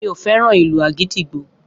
Mi o fẹ́ràn ìlù àgídìgbo